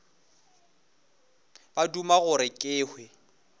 ba duma gore ke hwe